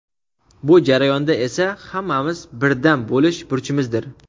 Bu jarayonda esa hammamiz birdam bo‘lish burchimizdir.